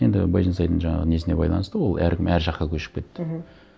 енді байжансайдың жаңағы несіне байланысты ол әркім әр жаққа көшіп кетті мхм